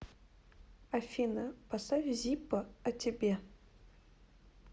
афина поставь зиппо о тебе